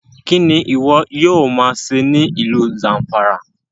Kini iwọ yoo ma ṣe ni ilu Zamfara?